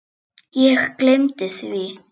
Hvað dreymir hana?